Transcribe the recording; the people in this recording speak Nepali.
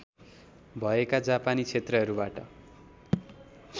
भएका जापानी क्षेत्रहरूबाट